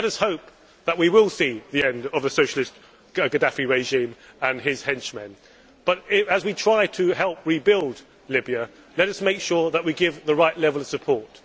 We hope that we will see the end of the Socialist Gaddafi regime and his henchmen, but as we try to help rebuild Libya let us make sure that we give the right level of support.